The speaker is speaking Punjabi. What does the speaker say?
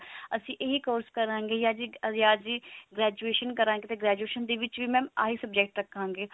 ਅਸੀਂ ਇਹ course ਕਰਾਂਗੇ ਯਾ graduation ਕਰਾਂਗੇ ਤਾਂ graduation ਦੇ ਵਿੱਚ mam ਇਹੀ subject ਰੱਖਾਗੇ